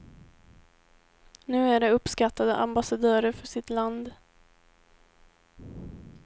Nu är de uppskattade ambassadörer för sitt land.